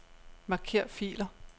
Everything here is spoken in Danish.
Marker filer.